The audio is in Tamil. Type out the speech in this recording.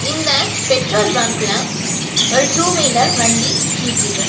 இந்த பெட்ரோல் பங்க்ல ஒரு டூவீலர் வண்டி நிக்கிது.